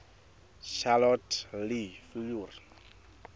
charlotte le fleur